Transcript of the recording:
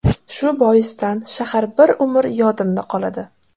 Shu boisdan shahar bir umr yodimda qoladi.